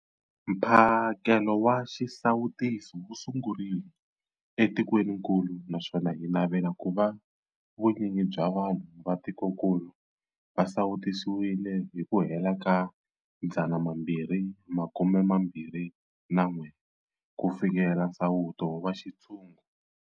Mphakelo wa xisawutisi wu sungurile etikwenikulu naswona hi navela ku va vunyingi bya vanhu va tikokulu va sawutisiwile hi ku hela ka 2021 ku fikelela nsawuto wa xintshungu.